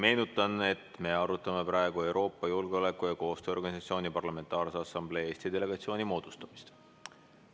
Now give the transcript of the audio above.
Meenutan, et me arutame praegu Euroopa Julgeoleku- ja Koostööorganisatsiooni Parlamentaarse Assamblee Eesti delegatsiooni moodustamist.